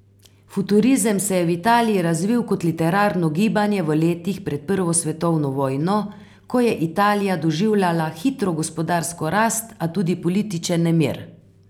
Futurizem se je v Italiji razvil kot literarno gibanje v letih pred prvo svetovno vojno, ko je Italija doživljala hitro gospodarsko rast, a tudi politični nemir.